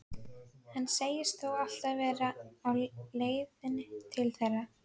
Hann segist þó alltaf vera á leiðinni til þeirra.